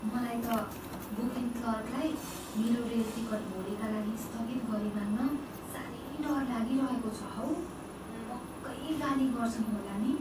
मलाई त बुकिङ क्लर्कलाई मेरो रेल टिकट भोलिका लागि स्थगित गरिमाग्न साह्रै डर लागिरहेको छ हौ। पक्कै गाली गर्छन् होला नि?